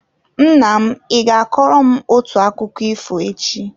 Nna m, ị ga-akọrọ m otu akụkọ ifo echi?